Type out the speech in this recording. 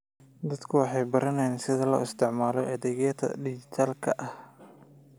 Dadku waxay baranayaan sida loo isticmaalo adeegyada dhijitaalka ah.